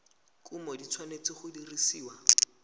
kumo di tshwanetse go dirisiwa